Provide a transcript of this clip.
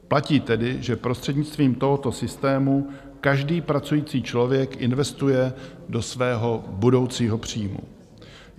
Platí tedy, že prostřednictvím tohoto systému každý pracující člověk investuje do svého budoucího příjmu.